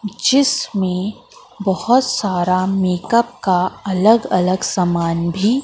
जिसमें बहुत सारा मेकअप का अलग अलग सामान भी--